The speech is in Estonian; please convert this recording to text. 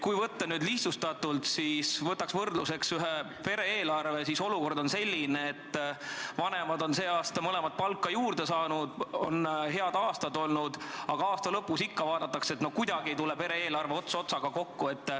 Kui võtta nüüd lihtsustatult võrdluseks ühe pere eelarve, siis on olukord selline, et mõlemad vanemad on aasta jooksul palka juurde saanud, aga aasta lõpus vaadatakse ikka, et no ei tule kuidagi pere eelarve ots otsaga kokku.